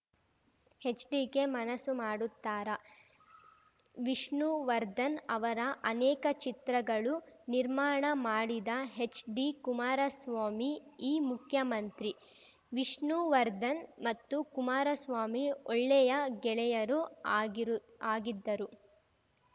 HDK ಮನಸ್ಸು ಮಾಡುತ್ತಾರಾ ವಿಷ್ಣುವರ್ಧನ್‌ ಅವರ ಅನೇಕ ಚಿತ್ರಗಳು ನಿರ್ಮಾಣ ಮಾಡಿದ ಹೆಚ್‌ಡಿ ಕುಮಾರಸ್ವಾಮಿ ಈ ಮುಖ್ಯಮಂತ್ರಿ ವಿಷ್ಣುವರ್ಧನ್‌ ಮತ್ತು ಕುಮಾರಸ್ವಾಮಿ ಒಳ್ಳೆಯ ಗೆಳೆಯರೂ ಆಗಿರು ಆಗಿದ್ದರು